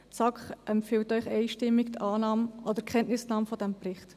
Die SAK empfiehlt Ihnen einstimmig die Kenntnisnahme dieses Berichts.